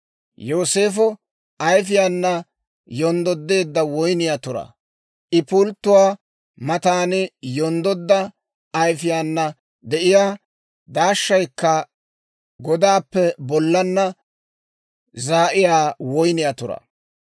Yooseefo ayfiyaana yonddodeedda woyniyaa turaa. I pulttuwaa matan yonddodda ayfiyaana de'iyaa, daashshaykka godaappe bollaanna zaa'iyaa woyniyaa turaa.